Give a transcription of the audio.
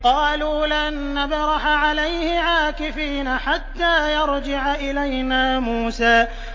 قَالُوا لَن نَّبْرَحَ عَلَيْهِ عَاكِفِينَ حَتَّىٰ يَرْجِعَ إِلَيْنَا مُوسَىٰ